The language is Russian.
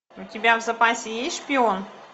у тебя в запасе есть шпион